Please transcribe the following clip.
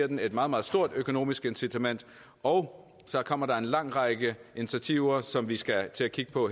den et meget meget stort økonomisk incitament og så kommer der en lang række initiativer som vi skal til at kigge på